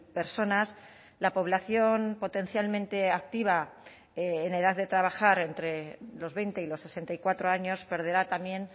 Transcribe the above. personas la población potencialmente activa en edad de trabajar entre los veinte y los sesenta y cuatro años perderá también